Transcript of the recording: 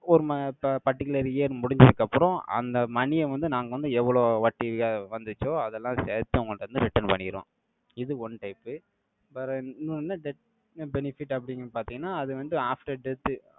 ஒரு ம~ ப~ particular year முடிஞ்சதுக்கு அப்புறம், அந்த money யை வந்து, நாங்க வந்து, எவ்வளோ வட்டிய வந்துச்சோ அதெல்லாம் சேர்த்து, உங்கள்ட வந்து, return பண்ணிருவோம். இது one type பிறகு இன்னொன்னு, death benefit அப்படின்னு பார்த்தீங்கன்னா, அது வந்து, after death